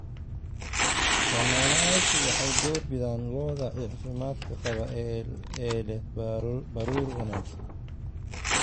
Isticmaalayaashu waxay door bidaan lo'da caafimaadka qaba oo leh baruur wanaagsan.